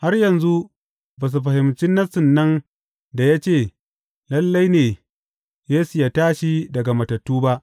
Har yanzu ba su fahimci Nassin nan da ya ce lalle ne Yesu yă tashi daga matattu ba.